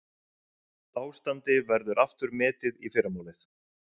Ástandi verður aftur metið í fyrramálið